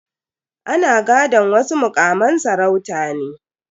Ana gadan wasu mukaman sarauta ne.